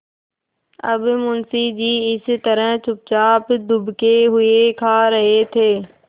अब मुंशी जी इस तरह चुपचाप दुबके हुए खा रहे थे